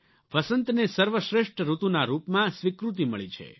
વસંતને સર્વશ્રેષ્ઠ ઋતુના રૂપમાં સ્વીકૃતિ મળી છે